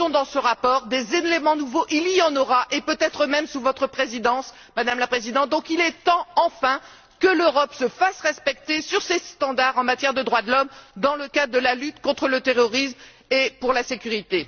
Ils sont dans ce rapport. Des éléments nouveaux, il y en aura, et peut être même sous votre Présidence, Madame la Présidente. Il est donc temps, enfin, que l'Europe se fasse respecter sur ses standards en matière de droits de l'homme dans le cadre de la lutte contre le terrorisme et pour la sécurité.